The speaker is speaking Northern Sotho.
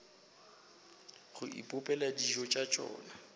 go ipopela dijo tša tšona